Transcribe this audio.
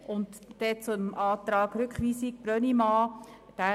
Zum Rückweisungsantrag Brönnimann